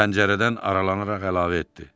O pəncərədən aralanaraq əlavə etdi.